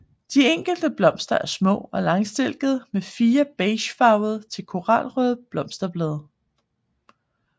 De enkelte blomster er små og langstilkede med fire beigefarvede til koralrøde blosterblade